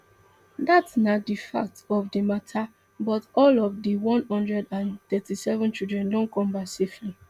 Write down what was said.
dat na di fact of di mata but all of di one hundred and thirty-seven children don come back safely